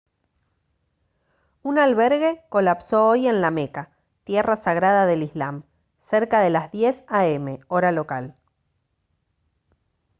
un albergue colapsó hoy en la meca tierra sagrada del islam cerca de las 10:00 a m hora local